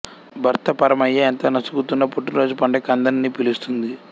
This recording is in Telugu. భర్త పరమయ్య ఎంత నసుగుతున్నా పుట్టినరోజు పండగకి అందరినీ పిలుస్తుంది